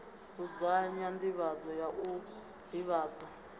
dzudzanya nḓivhadzo ya u ḓivhadza